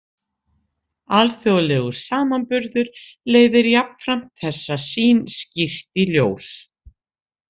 Alþjóðlegur samanburður leiðir jafnframt þessa sýn skýrt í ljós.